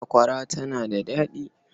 Sakwara tana da daɗi.